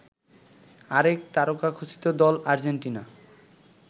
আরেক তারকাখচিত দল আর্জেন্টিনা